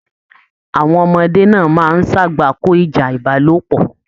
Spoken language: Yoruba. Àwọn ọmọdé náà máa n sagbako ìjà ìbálòpọ̀.